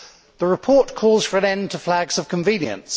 The report calls for an end to flags of convenience.